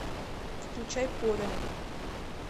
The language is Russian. включай поля